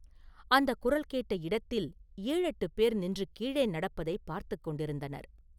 அந்தக் குரல் கேட்ட இடத்தில் ஏழெட்டுப் பேர் நின்று கீழே நடப்பதைப் பார்த்துக் கொண்டிருந்தனர்.